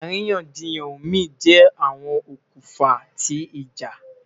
Àríyànjiyàn omi jẹ awọn okunfa ti ija